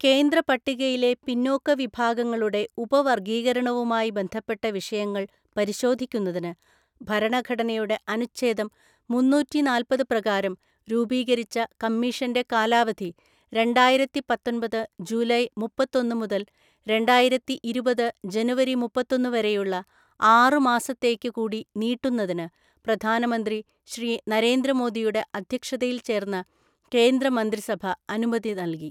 കേന്ദ്ര പട്ടികയിലെ പിന്നോക്ക വിഭാഗങ്ങളുടെ ഉപവര്ഗ്ഗീകരണവുമായി ബന്ധപ്പെട്ട വിഷയങ്ങള്‍ പരിശോധിക്കുന്നതിന് ഭരണഘടനയുടെ അനുേഛദം മുന്നൂറിനാല്‍പത് പ്രകാരം രൂപീകരിച്ച കമ്മിഷന്റെ കാലാവധി രണ്ടായിരത്തിപത്തൊന്‍പത് ജൂലൈ മുപ്പത്തൊന്നു മുതല് രണ്ടായിരത്തിഇരുപത് ജനുവരി മുപ്പത്തൊന്നു വരെയുള്ള ആറുമാസത്തേയ്ക്കു കൂടി നീട്ടുന്നതിന് പ്രധാനമന്ത്രി ശ്രീ നരേന്ദ്രമോദിയുടെ അദ്ധ്യക്ഷതയില്‍ ചേര്‍ന്ന കേന്ദ്ര മന്ത്രിസഭ അനുമതി നല്കി.